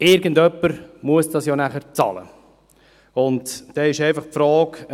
Irgendjemand muss es am Ende bezahlen.